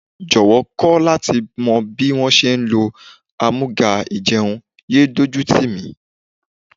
Jọ̀wọ́ kọ́ láti mọ bí wón ti ń ṣe lò àmúga-ìjẹun, yéé dójú tìmí.